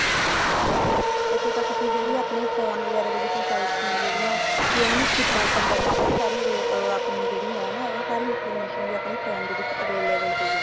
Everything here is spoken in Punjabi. ਇੱਥੋਂ ਤੱਕ ਕੇ ਜਿਹੜੇ ਆਪਣੇ phone ਵਗੇਰਾ ਦੇ ਵਿੱਚ sites ਨੇ ਜਿਹੜੀਆਂ ਕੇ ਉਹਨਾ ਨੂੰ open ਕਰਨਾ ਆਪਣੀ ਜਿਹੜੀ ਹੈ ਨਾ ਸਾਰੀ information ਵੀ ਆਪਣੇ phone ਦੇ ਵਿੱਚ available ਪਈ ਆ